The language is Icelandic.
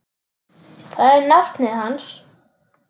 Það er nafnið hans.